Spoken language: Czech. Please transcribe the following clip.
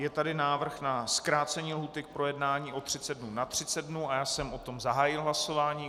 Je tady návrh na zkrácení lhůty k projednání o 30 dnů na 30 dnů a já jsem o tom zahájil hlasování.